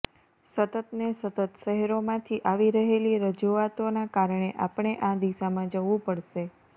સતતને સતત શહેરોમાંથી આવી રહેલી રજૂઆતોના કારણે આપણે આ દિશામાં જવુ પડશે